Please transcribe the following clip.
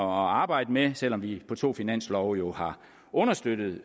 arbejde med selv om vi på to finanslove har understøttet